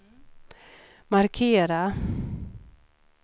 markera